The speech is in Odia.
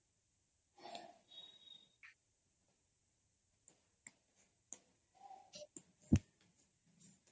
noise